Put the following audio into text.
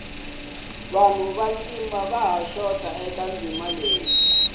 vanhu va ntima vaha xota eka nsimu leyi